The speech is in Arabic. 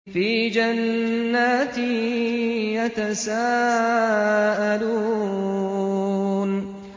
فِي جَنَّاتٍ يَتَسَاءَلُونَ